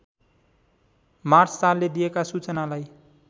मार्सचालले दिएका सूचनालाई